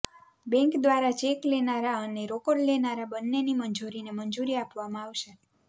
bank દ્વારા cheque લેનારા અને રોકડ લેનારા બંનેની મંજૂરીને મંજૂરી આપવામાં આવશે